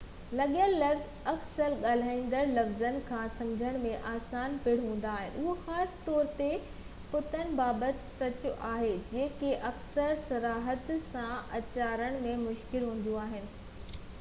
لکيل لفظ اڪثر ڳالهائينجندڙ لفظن کان سمجهڻ ۾ آسان پڻ هوندا آهن اهو خاص طور تي پتن بابت سچ آهي جيڪي اڪثر صراحت سان اچارڻ ۾ مشڪل هونديون آهن